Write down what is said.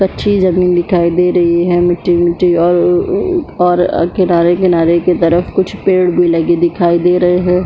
कच्ची ज़मीन दिखाई दे रही है मिटटी-मिटटी और उ-उ और किनारे-किनारे के तरफ कुछ पेड़ भी लगे दिखाई दे रहे है।